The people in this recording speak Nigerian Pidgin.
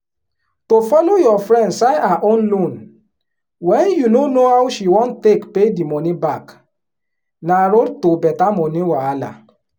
to follow your friend sign her own loanwen you no know how she wan take pay di money back na road to better money wahala.